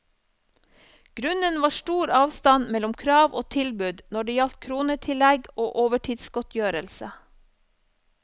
Grunnen var stor avstand mellom krav og tilbud når det gjaldt kronetillegg og overtidsgodtgjørelse.